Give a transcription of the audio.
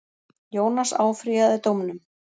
Jónas áfrýjaði dómnum.